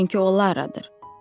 Çünki o Laradır.